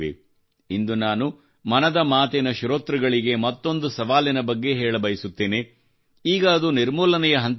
ಇಂದು ನಾನು ಮನದ ಮಾತು ಶ್ರೋತೃಳಿಗೆ ಮತ್ತೊಂದು ಸವಾಲಿನ ಬಗ್ಗೆ ಹೇಳಬಯಸುತ್ತೇನೆ ಈಗ ಅದು ನಿರ್ಮೂಲನೆಯ ಹಂತದಲ್ಲಿದೆ